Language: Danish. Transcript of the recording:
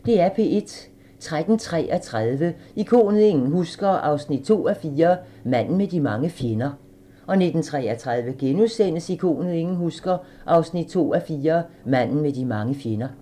13:33: Ikonet ingen husker – 2:4 Manden med de mange fjender 19:33: Ikonet ingen husker – 2:4 Manden med de mange fjender *